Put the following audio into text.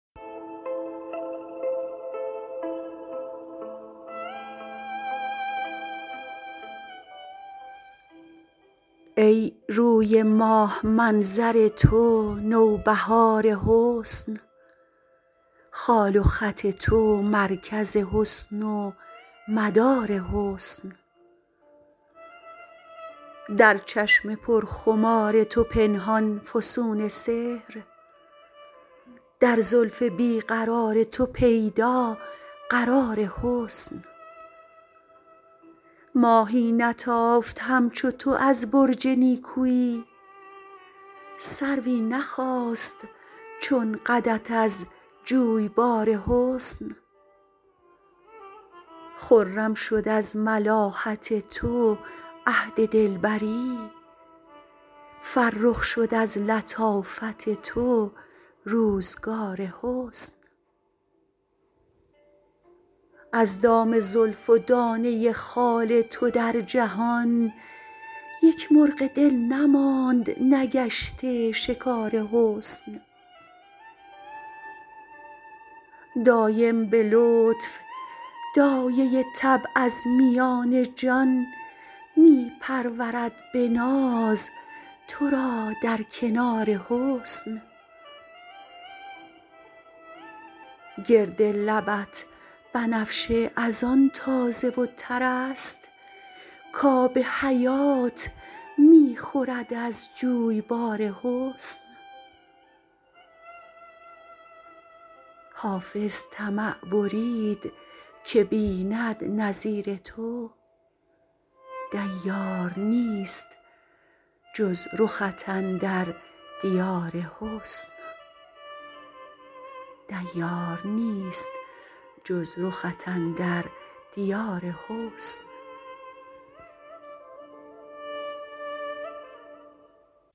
ای روی ماه منظر تو نوبهار حسن خال و خط تو مرکز حسن و مدار حسن در چشم پرخمار تو پنهان فسون سحر در زلف بی قرار تو پیدا قرار حسن ماهی نتافت همچو تو از برج نیکویی سروی نخاست چون قدت از جویبار حسن خرم شد از ملاحت تو عهد دلبری فرخ شد از لطافت تو روزگار حسن از دام زلف و دانه خال تو در جهان یک مرغ دل نماند نگشته شکار حسن دایم به لطف دایه طبع از میان جان می پرورد به ناز تو را در کنار حسن گرد لبت بنفشه از آن تازه و تر است کآب حیات می خورد از جویبار حسن حافظ طمع برید که بیند نظیر تو دیار نیست جز رخت اندر دیار حسن